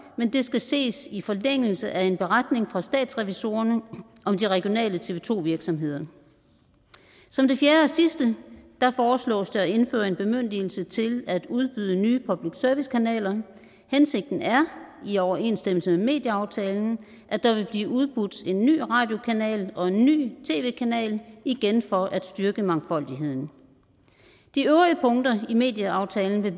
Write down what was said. men det skal ses i forlængelse af en beretning fra statsrevisorerne om de regionale tv to virksomheder som det fjerde og sidste foreslås det at indføre en bemyndigelse til at udbyde nye public service kanaler hensigten er i overensstemmelse med medieaftalen at der vil blive udbudt en ny radiokanal og en ny tv kanal igen for at styrke mangfoldigheden de øvrige punkter i medieaftalen vil